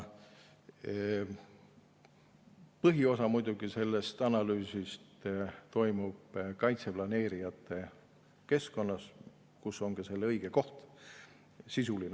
Põhiosa sellest analüüsist, sisuline analüüs, toimub kaitseplaneerijate keskkonnas, kus on ka selle õige koht.